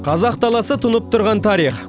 қазақ даласы тұнып тұрған тарих